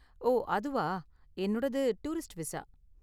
ஓ அதுவா, என்னோடது tourist visa.